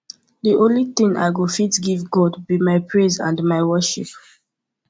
the only thing i go fit give god be my praise and my worship